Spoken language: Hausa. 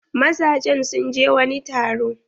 Mazajen sun je wani taro.